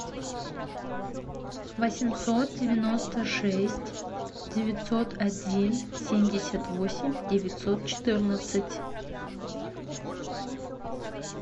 восемьсот девяносто шесть девятьсот один семьдесят восемь девятьсот четырнадцать